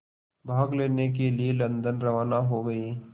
भाग लेने के लिए लंदन रवाना हो गए